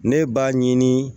Ne b'a ɲini